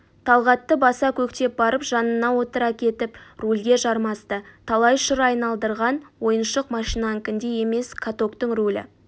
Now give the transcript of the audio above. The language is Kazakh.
талғатты баса-көктеп барып жанына отыра кетіп рульге жармасты талай шыр айналдырған ойыншық машинанікіндей емес катоктың рулі